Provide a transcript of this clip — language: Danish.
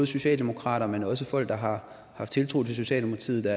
socialdemokrater men også folk der har haft tiltro til socialdemokratiet